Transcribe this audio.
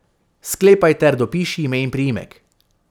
Sklepaj ter dopiši ime in priimek.